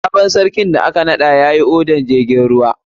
Sabon sarkin da aka naɗa yayi odar jirgin ruwa.